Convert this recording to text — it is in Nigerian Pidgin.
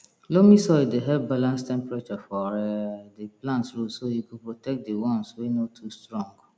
loamy soil dey help balance temperature for um di plant roots so e go protect di once wey no too strong